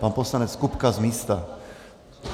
Pan poslanec Kupka z místa.